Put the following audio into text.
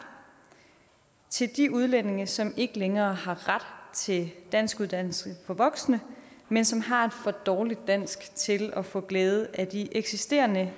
til de udlændinge som ikke længere har ret til danskuddannelse for voksne men som har et for dårligt dansk til at få glæde af de eksisterende